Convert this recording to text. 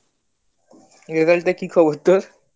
result এর কি খবর তোর